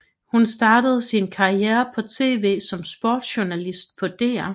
Hun startede sin karriere på TV som sportsjournalist på DR